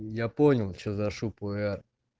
я понял что за шу пуэр